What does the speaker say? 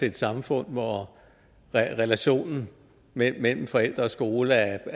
et samfund hvor relationen mellem forældre og skole er